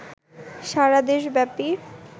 সারাদেশ ব্যাপী